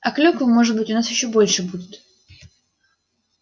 а клюквы может быть у нас ещё больше будет